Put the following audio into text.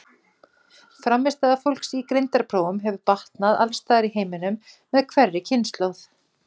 Frammistaða fólks í greindarprófum hefur batnað alls staðar í heiminum með hverri kynslóð.